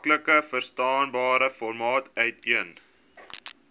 maklikverstaanbare formaat uiteen